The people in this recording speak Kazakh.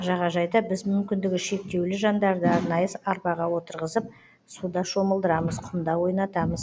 жағажайда біз мүмкіндігі шектеулі жандарды арнайы арбаға отырғызып суда шомылдырамыз құмда ойнатамыз